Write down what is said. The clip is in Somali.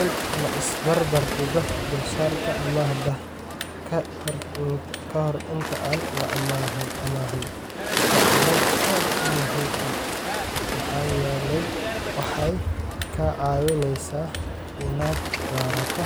In la is barbar dhigo dulsaarka amaahda ka hor inta aan la amaahan waa arrin aad muhiim u ah maxaa yeelay waxay kaa caawinaysaa inaad doorato